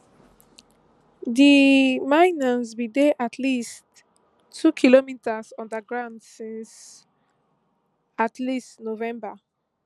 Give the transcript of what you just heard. di miners bin dey at least two kilometres underground since at least november